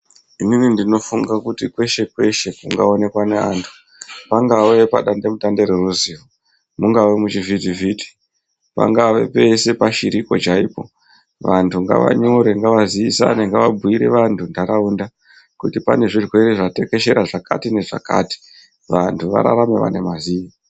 Inini ndinofunge kuti kweshe kweshe kungaonekwe anhu pangave padandemutande reruzivo mungave muchivhitivhiti pangave pese pashiripo chaipo vantu ngavanyore ngavazivisane ngavabhuyire vantu nharaunda kuti pane zvirwere zvatekeshera zvakati nezvakati vanhu vararame vane mazii.